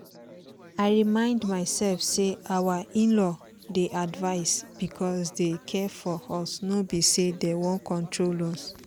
i remind myself say our in-law dey advise because dem care for us no be say dem wan control us